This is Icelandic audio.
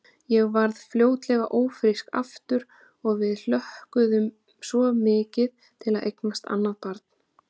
Ég varð fljótlega ófrísk aftur og við hlökkuðum svo mikið til að eignast annað barn.